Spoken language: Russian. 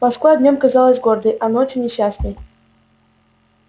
москва днём казалась гордой а ночью несчастной